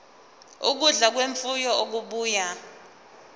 ukudla kwemfuyo okubuya